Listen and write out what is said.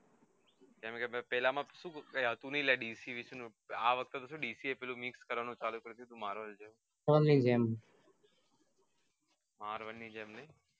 કેમ કે પેલા માં કઈ હતું નહિ લ્યા dc આ વખતે ડીસી mix કરવાનું ચાલુ કરિયું છે marvel જેવુ marvel ની જેમ